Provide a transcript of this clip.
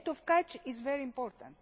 The date of catch is very